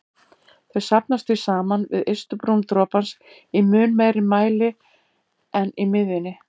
Þau safnast því saman við ystu brún dropans í mun meiri mæli en í miðjunni.